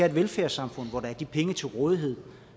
et velfærdssamfund hvor der er de penge til rådighed